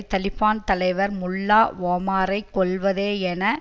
தலிபான் தலைவர் முல்லா ஒமாரை கொல்வதே என